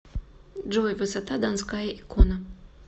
джой высота донская икона